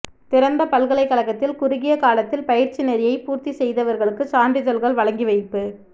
திறந்த பல்கலைக்கழகத்தில் குறுகிய காலத்தில் பயிற்சிநெறியை பூர்த்தி செய்தவர்களுக்கு சான்றிதழ்கள் வழங்கி வைப்பு